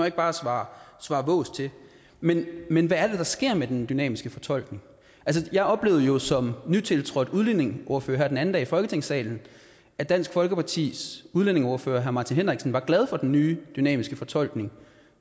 ikke bare svare svare vås til men men hvad er det der sker med den dynamiske fortolkning jeg oplevede jo som nytiltrådt udlændingeordfører her den anden dag i folketingssalen at dansk folkepartis udlændingeordfører herre martin henriksen var glad for den nye dynamiske fortolkning